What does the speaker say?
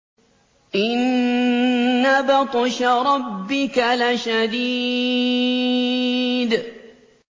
إِنَّ بَطْشَ رَبِّكَ لَشَدِيدٌ